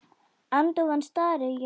Agndofa stari ég á hana.